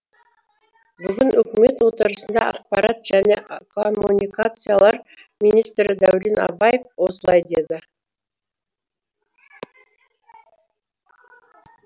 бүгін үкімет отырысында ақпарат және коммуникациялар министрі дәурен абаев осылай деді